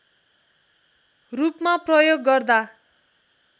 रूपमा प्रयोग गर्दा